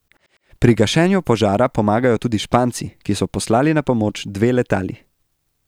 Pri gašenju požara pomagajo tudi Španci, ki so poslali na pomoč dve letali.